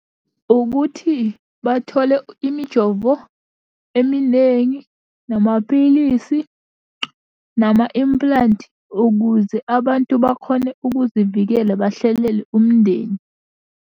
Ukuthi bathole imijovo eminengi, namaphilisi, nama-implant, ukuze abantu bakhone ukuzivikela bahlelele mndeni.